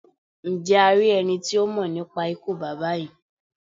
Njẹ a ri ẹni ti o mọ nipa ikú baba yii?